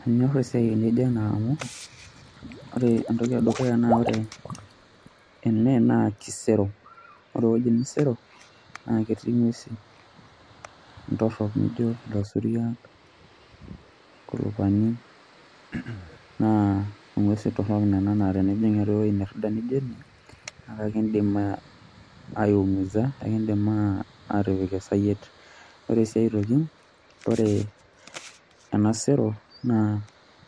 Manyor esiai nijo ena amu ore entoki e dukuya naa ore ene naa kisero, ore ewueji nisero naake etii ng'uesin intorok nijo ilasuriak, inkulupani naa ing'uesin torok inanan naa tenejing' ewuei nerida nijo ene naake akiindim aiumiza akiindim aa atipik esayiet. Ore sii aitoki ore ena sero naa